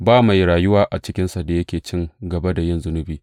Ba mai rayuwa a cikinsa da yake cin gaba da yin zunubi.